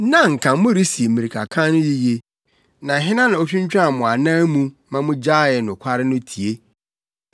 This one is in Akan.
Na anka moresi mmirikakan no yiye! Na hena na otwintwan mo anan mu ma mugyaee nokware no tie?